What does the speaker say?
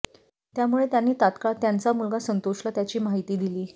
त्यामुळे त्यांनी तात्काळ त्यांचा मुलगा संतोषला त्याची माहिती दिली